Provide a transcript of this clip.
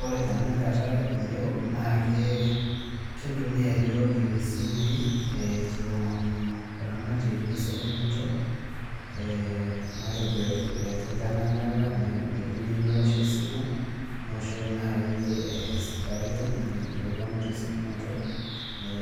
Ore tenakata iyiok naakee kintumia yiook isimui eeh kiomonuu oramatie lesiekunoto eeh matejo itanyamala nindim niwosh esimu , niwoshoki nai eh sirkali nepuonu tesiokunoto